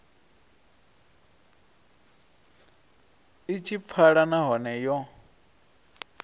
i tshi pfala nahone yo